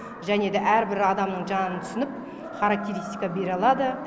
және де әрбір адамның жанын түсініп характеристика бере алады